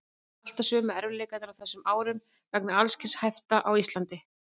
Alltaf sömu erfiðleikarnir á þessum árum vegna alls kyns hafta á Íslandi.